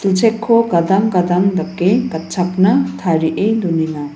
gadang gadang dake gatchakna tarie donenga.